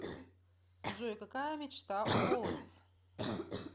джой какая мечта у голодец